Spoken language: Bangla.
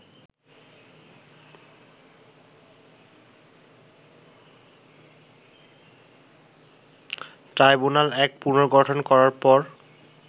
ট্রাইব্যুনাল এক পুনর্গঠন করার পর